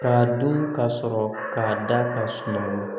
K'a dun ka sɔrɔ k'a da ka suma